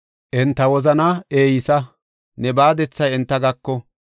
Enta wozanaa eysa; ne baadethay enta gako.